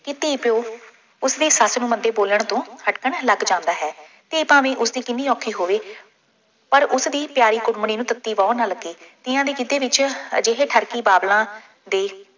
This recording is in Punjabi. ਕਿਤੇ ਪਿਉ, ਉਸਦੀ ਸੱਸ ਨੂੰ ਮੰਦੇ ਬੋਲਣ ਤੋਂ ਹਟਕਣ ਲੱਗ ਜਾਂਦਾ ਹੈ। ਧੀ ਭਾਵੇਂ ਉਸਦੀ ਕਿੰਨੀ ਔਖੀ ਹੋਵੇ, ਪਰ ਉਸਦੀ ਪਿਆਰੀ ਕੁੜਮਣੀ ਨੂੰ ਤੱਤੀ ਵਾਹ ਨਾ ਲੱਗੇ। ਤੀਆਂ ਦੇ ਗਿੱਧੇ ਵਿੱਚ ਅਜਿਹੇ ਠਰਕੀ ਬਾਬਲਾਂ ਦੇ